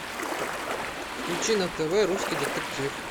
включи на тв русский детектив